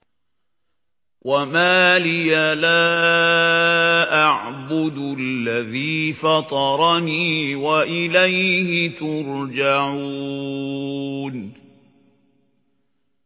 وَمَا لِيَ لَا أَعْبُدُ الَّذِي فَطَرَنِي وَإِلَيْهِ تُرْجَعُونَ